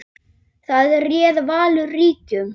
Þar réð Valur ríkjum.